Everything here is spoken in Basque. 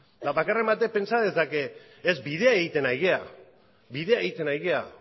bakarren batek pentsa dezake ez bidea egiten ari gara bidea egiten ari gara